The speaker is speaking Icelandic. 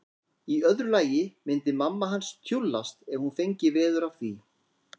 Í öðru lagi myndi mamma hans tjúllast ef hún fengi veður af því.